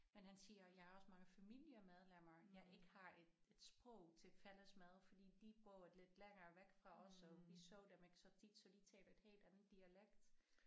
Men han siger jeg har også mange familiemedlemmer jeg ikke har et et sprog til fælles med fordi de boede lidt længere væk fra os og vi så dem ikke så tit så de taler et helt andet dialekt